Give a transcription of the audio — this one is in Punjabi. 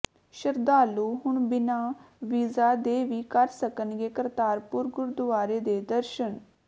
ਸ਼ਰਧਾਲੂ ਹੁਣ ਬਿਨਾਂ ਵੀਜ਼ਾ ਦੇ ਵੀ ਕਰ ਸਕਣਗੇ ਕਰਤਾਰਪੁਰ ਗੁਰਦੁਆਰੇ ਦੇ ਦਰਸ਼ਨ